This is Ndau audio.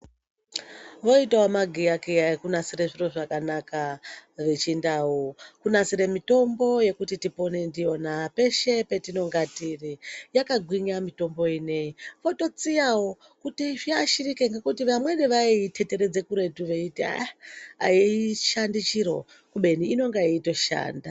Voitawo magiyakiya ekunasira zviro zvakanaka vechindau kunasire mitombo yekuti tipone ndiyona peshe patinonge tiri yakagwinya mitombo ineyi vototsiyawo kuti zviashirike ngekuti vamweni vaiiteteredze kuretu veiti aishandi chiro kubeni inonga yeitoshanda.